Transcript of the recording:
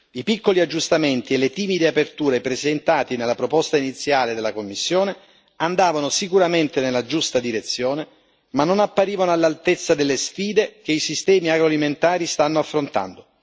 I piccoli aggiustamenti e le timide aperture presentati nella proposta iniziale della Commissione andavano sicuramente nella giusta direzione, ma non apparivano all'altezza delle sfide che i sistemi agroalimentari stanno affrontando.